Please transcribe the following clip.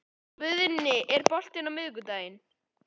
Guðni, er bolti á miðvikudaginn?